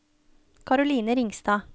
Caroline Ringstad